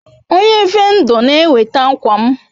Onye vendo n'eweta akwam